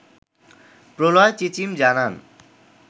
প্রলয় চিচিম জানান